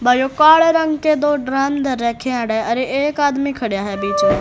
काले रंग के दो ड्रम रखे हुए एक आदमी खड़ा है बीच में--